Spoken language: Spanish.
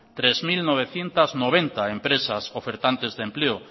tres mil novecientos noventa empresas ofertantes de empleo